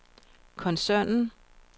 koncernen